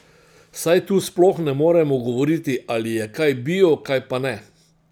Saj tu sploh ne moremo govoriti, ali je kaj bio, kaj pa ne.